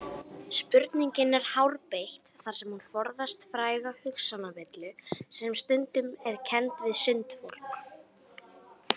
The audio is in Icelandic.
Spurningin er hárbeitt þar sem hún forðast fræga hugsanavillu sem stundum er kennd við sundfólk.